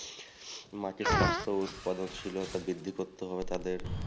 মাটির স্বাস্থ্য উৎপাদনশিলতা বৃদ্ধি করতে হবে